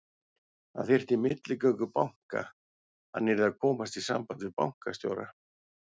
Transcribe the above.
Hann þyrfti milligöngu banka, hann yrði að komast í samband við bankastjóra.